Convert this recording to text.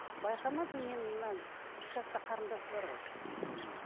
байқамадым мен мына үш жаста қарындасы бар ғой мхм